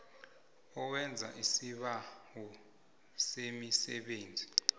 owenza isibawo semisebenzi